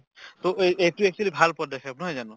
to এই এইটো actually ভাল পদক্ষেপ নহয় জানো